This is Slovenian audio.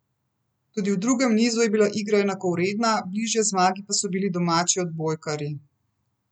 Tudi v drugem nizu je bila igra enakovredna, bližje zmagi pa so bili domači odbojkarji.